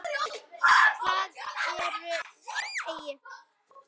Hvað ertu gamall núna?